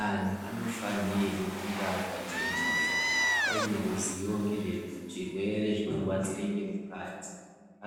Antu anofanirwa kunge akachenjera aine ruzivo rezvirwere zvinorwadzira nechemukati